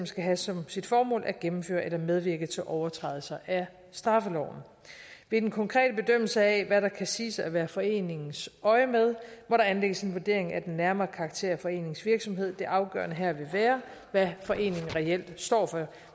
skal have som sit formål at gennemføre eller medvirke til overtrædelser af straffeloven ved den konkrete bedømmelse af hvad der kan siges at være foreningens øjemed må der anlægges en vurdering af den nærmere karakter af foreningens virksomhed det afgørende her vil være hvad foreningen reelt står for